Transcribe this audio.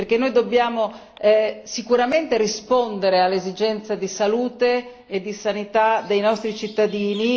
Noi dobbiamo sicuramente rispondere alle esigenze di salute e di sanità dei nostri cittadini.